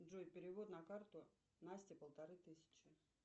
джой перевод на карту настя полторы тысячи